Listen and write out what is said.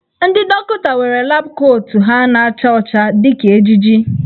Ndị dọkịta nwere lab kootu ha na-acha ọcha dị ka ejiji.